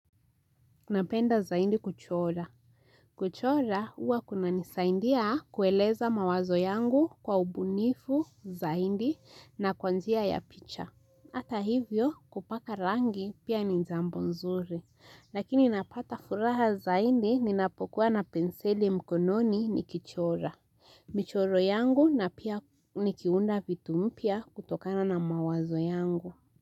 Napenda zaidi kuchora. Kuchora huwa kunanisaindia kueleza mawazo yangu kwa ubunifu zaidi na kwa njia ya picha. Hata hivyo kupaka rangi pia ni jambo nzuri. Lakini napata furaha zaidi ninapokuwa na penseli mkononi nikichora. Michoro yangu na pia nikiunda vitu mpya kutokana na mawazo yangu.